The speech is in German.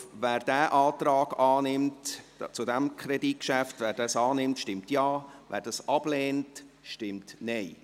Wer dieses Kreditgeschäft annimmt, stimmt Ja, wer es ablehnt, stimmt Nein.